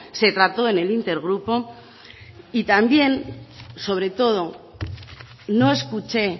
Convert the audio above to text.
se trató en el inter grupo y también sobre todo no escuché